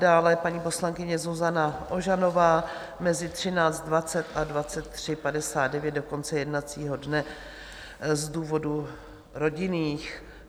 Dále paní poslankyně Zuzana Ožanová mezi 13.20 a 23.59, do konce jednacího dne, z důvodů rodinných.